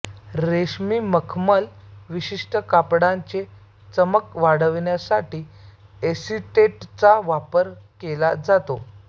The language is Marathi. रेशीम मखमल विशिष्ट कापडांचे चमक वाढविण्यासाठी एसीटेटचा वापर केला जातो